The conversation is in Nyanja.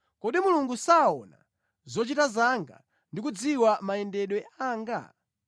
Kodi Mulungu saona zochita zanga, ndi kudziwa mayendedwe anga?